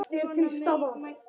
Fríða horfði á hann ströng.